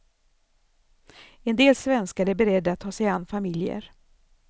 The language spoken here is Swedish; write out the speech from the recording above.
En del svenskar är beredda att ta sig an familjer.